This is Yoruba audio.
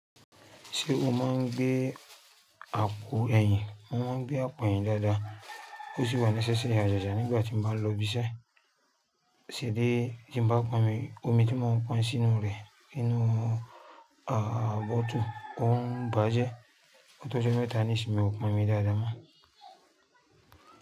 Ṣé o máa ń gbé àpò ẹ̀yìn? Mo máa ń gbé àpò ẹ̀yìn dáadáa, kó sì wà nísẹ́ ṣe àjàjà nígbà tí mo bá lọ ibiṣẹ́, ṣèbí tí mo bá pọn omi tí mo ń pọn sínú rẹ̀ nínú bọ́ọ́tù ó ń bàjẹ́, ó tó jẹ́ méta nísinsìnyí mo pọn omi dáadáa mọ́.